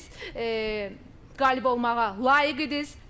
Qalib olmağa layiq idiniz.